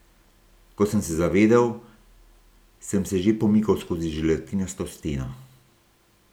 Ko sem se zavedel, sem se že pomikal skozi želatinasto steno.